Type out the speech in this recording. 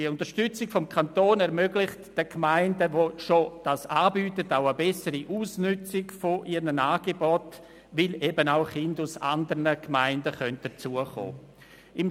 Die Unterstützung des Kantons ermöglicht den Gemeinden mit einem bereits bestehenden Angebot eine bessere Ausnützung ihrer Angebote, weil auch Kindern aus anderen Gemeinden dazu kommen können.